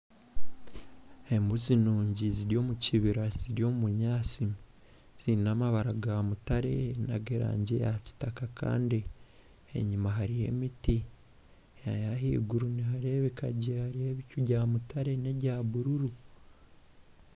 Embuzi nungi ziri omu kibira nizirya obunyaatsi. Ziine amabara ga mutare nag'erangi ya kitaka Kandi enyima hariyo emiti, ahaiguru niharebeka gye hariyo ebicu bya mutare ne bya bururu.